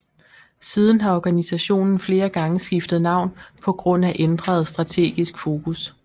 Siden har organisationen flere gange skiftet navn på grund af ændret strategisk fokus